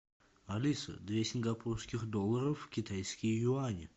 алиса две сингапурских доллара в китайские юани